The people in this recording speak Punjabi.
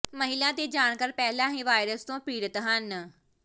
ਮਹਿਲਾ ਦੇ ਜਾਣਕਾਰ ਪਹਿਲਾਂ ਹੀ ਵਾਇਰਸ ਤੋਂ ਪੀੜਤ ਹਨ